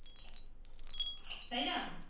তাই না